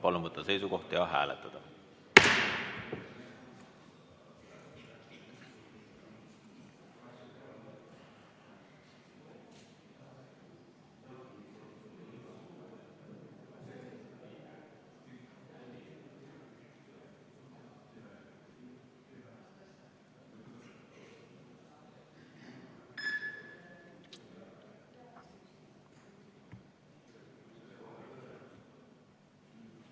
Palun võtta seisukoht ja hääletada!